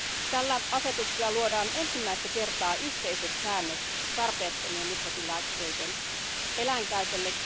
Tällä asetuksella luodaan ensimmäistä kertaa yhteiset säännöt tarpeettomien mikrobilääkkeiden eläinkäytölle.